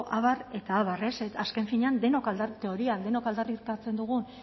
abar eta abar azken finean teorian denok aldarrikatzen dugun